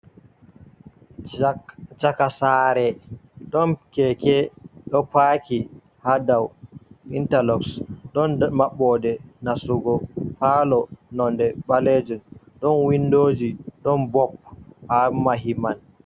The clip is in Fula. Cak cakasare, ɗon keke ɗo paki hadau inta lok, ɗon mabbode nastugo falo nonde ɓalejun, ɗon windoji, ɗon bob haa mahiman.